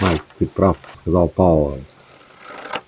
майк ты прав сказал пауэлл